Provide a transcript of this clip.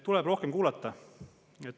Tuleb rohkem kuulata!